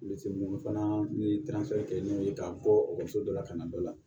Litiri mugu fana ni kɛ n'o ye k'a bɔ ekɔliso dɔ la ka na dɔ la